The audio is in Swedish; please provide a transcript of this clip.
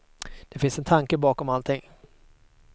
Det finns en tanke bakom allting.